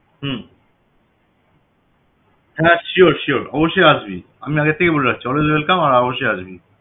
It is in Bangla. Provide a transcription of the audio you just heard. হম হ্যাঁ sure অবশ্যই আসবি আমি আগে থেকেই বলে রাখছি always welcome আর অবশ্যই আসবি